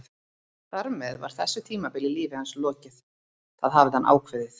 Þar með var þessu tímabili í lífi hans lokið, það hafði hann ákveðið.